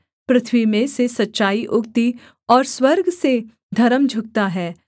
पृथ्वी में से सच्चाई उगती और स्वर्ग से धर्म झुकता है